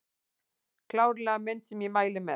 Klárlega mynd sem ég mæli með